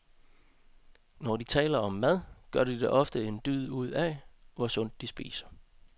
Når de taler om mad, gør de ofte en dyd ud af, hvor sundt de spiser.